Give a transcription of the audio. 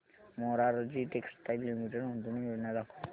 Morarji textiles limited गुंतवणूक योजना दाखव